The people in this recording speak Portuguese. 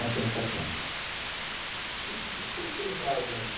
Novecentos e setenta. E de que vocês brincavam ali?